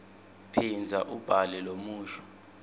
phindza ubhale lomusho